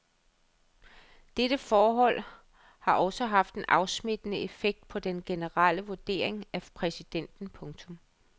Dette forhold har også haft en afsmittende effekt på den generelle vurdering af præsidenten. punktum